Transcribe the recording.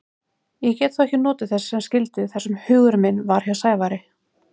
Ég gat þó ekki notið þess sem skyldi þar sem hugur minn var hjá Sævari.